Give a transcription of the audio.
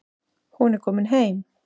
Hún er komin heim.